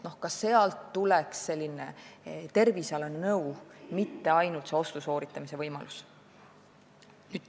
Ka sealt peaks saama tervisenõu, apteek ei peaks olema mitte ainult ostu sooritamise koht.